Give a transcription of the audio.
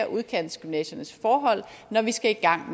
udkantsgymnasiernes forhold når vi skal i gang